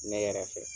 Ne yɛrɛ fɛ